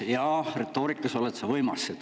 Jaa, retoorikas oled sa võimas.